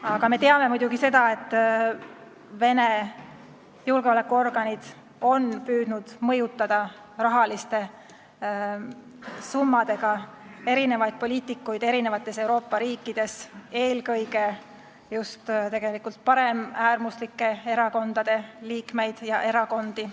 Aga me teame muidugi seda, et Vene julgeolekuorganid on püüdnud rahaliste summadega mõjutada mitmeid poliitikuid eri Euroopa riikides, eelkõige just paremäärmuslike erakondade liikmeid ja neid erakondi.